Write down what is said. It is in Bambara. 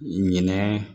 Ɲinɛ